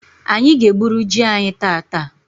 Anyị ga egburu jị anyị tata